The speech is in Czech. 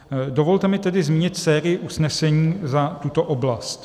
Dovolte mi tedy zmínit sérii usnesení za tuto oblast: